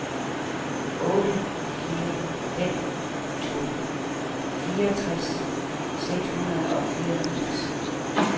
otte fire fem to fireogtres seks hundrede og fireogfirs